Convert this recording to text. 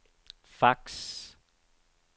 fax